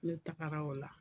Ne tagara o la